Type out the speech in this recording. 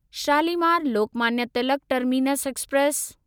Shalimar Lokmanya Tilak terminus express